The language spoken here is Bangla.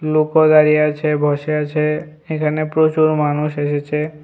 লোকও দাঁড়িয়ে আছে বসে আছে এখানে প্রচুর মানুষ এসেছে।